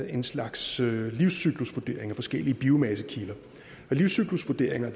en slags livscyklusvurdering af forskellige biomassekilder og livscyklusvurderinger